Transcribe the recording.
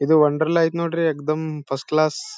ಇದು ಒಂಡರ್ಲಾ ಐತೆ ನೋಡ್ರಿ ಎಗ್ದಮ್ ಫಸ್ಟ್ ಕ್ಲಾಸ್ .